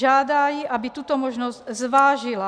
Žádá ji, aby tuto možnost zvážila.